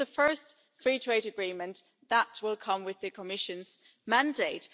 This is the first free trade agreement that will come with the Commission's mandate.